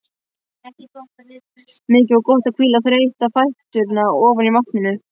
Mikið var gott að hvíla þreytta fæturna ofan í vatninu.